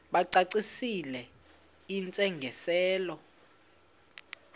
bacacisele intsi ngiselo